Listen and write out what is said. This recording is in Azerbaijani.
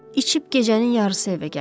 İçib gecənin yarısı evə gəlir.